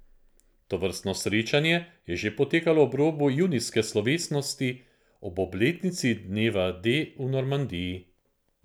Tovrstno srečanje je že potekalo ob robu junijske slovesnosti ob obletnici dneva D v Normandiji.